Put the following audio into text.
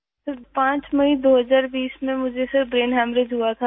سر، 5 مئی 2020 ء میں مجھے برین ہیمرج ہوا تھا